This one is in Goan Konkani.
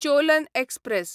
चोलन एक्सप्रॅस